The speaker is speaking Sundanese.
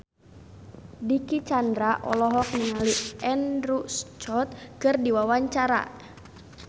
Dicky Chandra olohok ningali Andrew Scott keur diwawancara